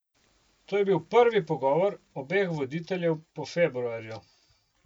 To je bil prvi pogovor obeh voditeljev po februarju.